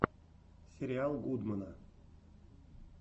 сериал гудмэна